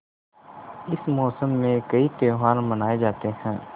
इस मौसम में कई त्यौहार मनाये जाते हैं